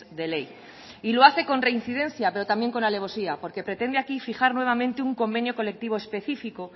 de ley y lo hace con reincidencia pero también con alevosía porque pretende aquí fijar nuevamente un convenio colectivo específico